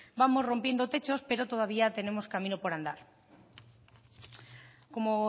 vamos rompiendo techos pero todavía tenemos camino por andar como